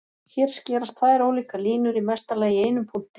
Hér skerast tvær ólíkar línur í mesta lagi í einum punkti.